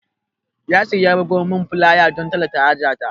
Yasir ya bugo min fulaya don tallata haja ta